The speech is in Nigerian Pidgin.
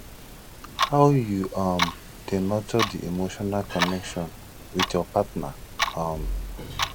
how you um dey nurture di emotional connection with your partner um